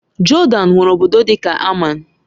Jodan nwere obodo dị ka Amman